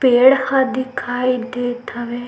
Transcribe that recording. पेड़ ह दिखाई दे हवे।